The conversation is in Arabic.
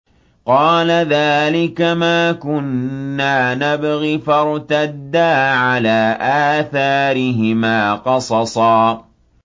قَالَ ذَٰلِكَ مَا كُنَّا نَبْغِ ۚ فَارْتَدَّا عَلَىٰ آثَارِهِمَا قَصَصًا